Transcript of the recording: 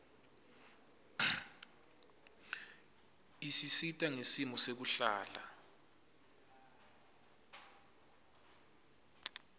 isisita ngesimo sekuhlala